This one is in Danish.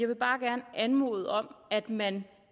vil bare gerne anmode om at man